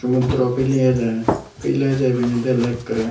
sumudro pili ejer pil eje ebeni dele ekkere.